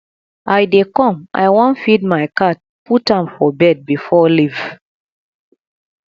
i dey come i wan feed my cat put am for bed before ieave